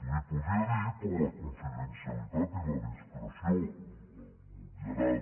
li podria dir però la confidencialitat i la discreció m’obviarà